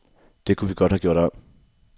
Det kunne vi godt have gjort om.